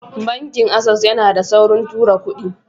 Banki access yana da saukin tura kudi.